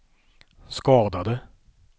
skadade